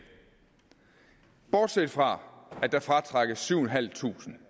bortset fra at der fratrækkes syv tusind